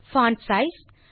font size